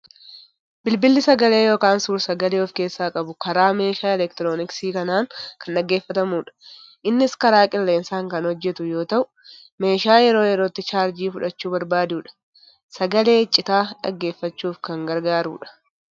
Bilbilli sagalee yookiin suur sagalee of keessaa qabu karaa meeshaa elektirooniksii kanaan kan dhaggeeffatamudha. Innis karaa qilleensaan kan hojjetu yoo ta'u, meeshaa yeroo yerootti chaarjii fudhachuu barbaadudha. Sagalee icciitaa dhaggeeffachuuf kan gargaarudha.